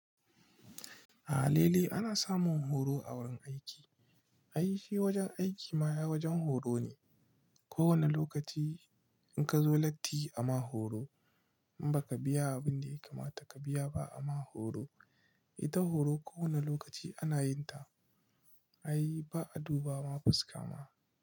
A halili ana samun horo a wurin aiki. Ai shi wajen aiki ma ai wajen horo ne. Ko wane lokaci in ka zo latti ama horo in baka biya abin da ya kamata ka biya ba ama horo. Ita horo ko wane lokaci ana yin ta. Ai ba a duba ma fuska ma.